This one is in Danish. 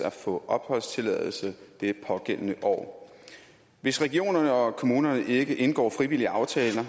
at få opholdstilladelse det pågældende år hvis regionerne og kommunerne ikke indgår frivillige aftaler